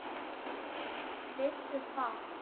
Vissu fátt.